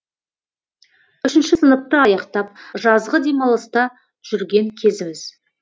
үшінші сыныпты аяқтап жазғы демалыста жүрген кезіміз